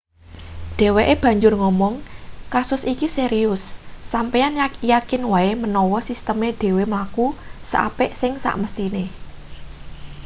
dheweke banjur ngomong kasus iki serius sampeyan yakin wae menawa sisteme dhewe mlaku seapik sing semesthine